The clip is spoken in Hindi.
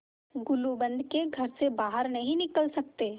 गुलूबंद के घर से बाहर नहीं निकल सकते